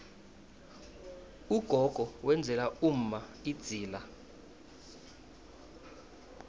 ugogo wenzela umma idzila